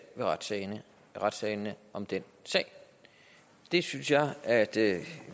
ved retssalene retssalene om den sag det synes jeg at